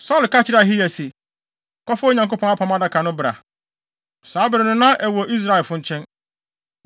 Saulo ka kyerɛɛ Ahiya se, “Kɔfa Onyankopɔn Apam Adaka no bra.” (Saa bere no na ɛwɔ Israelfo nkyɛn.)